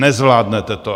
Nezvládnete to.